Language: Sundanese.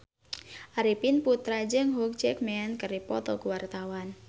Arifin Putra jeung Hugh Jackman keur dipoto ku wartawan